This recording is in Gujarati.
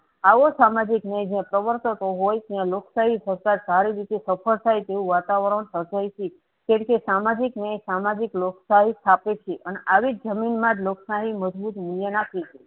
આવો સામાજિક ન્યાય જ્યાં પ્રવર્તતો હોય ત્યાં લોક શાહી સતા સારી રીતે સફળ થાય તેવું વાતાવરણ સર્જાય છે. તેરીતે સામાજિક ન્યાય સામાજિક લોકશાહી સ્થાપે છે. અને આવી જમીન માંજ લોક શાહી મજબૂત મૂલ્ય આપી છે.